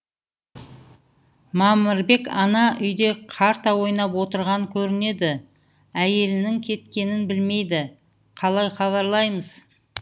мамырбек ана үйде карта ойнап отырған көрінеді әйелінің кеткенін білмейді қалай хабарлаймыз